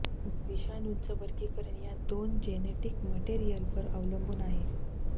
विषाणूंचं वर्गीकरण या दोन जेनेटिक मटेरियलवर अवलंबून आहे